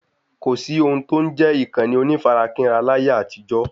kòsí ohun tó n jẹ́ ìkànnì onífarakínra láyé àtijó